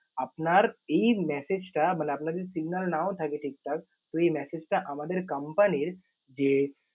আপনার এই message টা মানে আপনার যদি signal নাও থাকে ঠিকঠাক তো এই message টা আমাদের company র যে